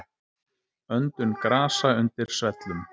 Öndun grasa undir svellum.